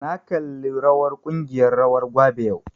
Na kalli rawar ƙungiyar rawar gwabe yau